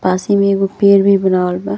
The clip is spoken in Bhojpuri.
पास ही में एगो पेड़ भी बनावल बा।